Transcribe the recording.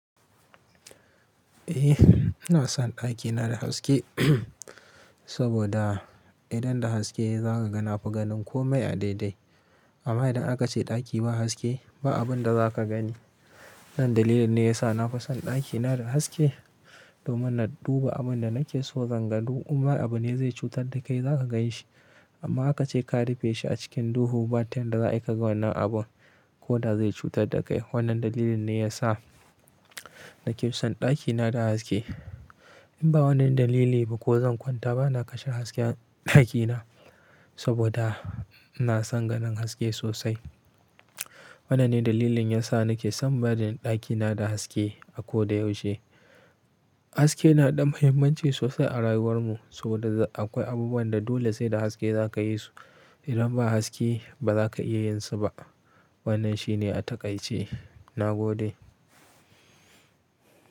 Eh, ina son ɗakina da haske saboda idan da haske za ka ga nafa ganin komai a daidai. Amma idan aka ce ɗaki ba haske, ba abun da za ka gani. Nan dalilin ne ya sa na fi son ɗakina da haske domin na duba abun da nake so zanga du umma abune zai cutar da kai za ka ganshi. Amma aka ce ka rufe shi a cikin duhu ba ta yadda za ai kaga wannan abun ko da zai cutar da kai. Wannan dalilin ne ya sa nake son ɗakina da haske. In ba wannan dalili ba ko zan kwanta ba na kashe hasken ɗakina saboda ina san ganin haske sosai. Wannan ne dalilin yasa nake son barin ɗakina da haske a ko da yaushe. Haske na da muhimmanci sosai a rayuwar mu saboda akwai abubuwan da dole sai da haske za ka yi su. Idan ba haske ba za ka iya yin su ba. Wannan shi ne a takaice. Na gode.